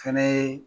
Fɛnɛ ye